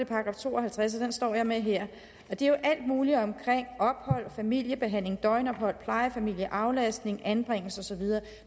§ to og halvtreds og den står jeg med her og det er jo alt muligt omkring ophold familiebehandling døgnophold plejefamilie aflastning anbringelse og så videre